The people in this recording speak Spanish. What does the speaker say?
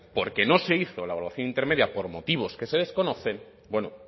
porque no se hizo la evaluación intermedia por motivos que se desconocen bueno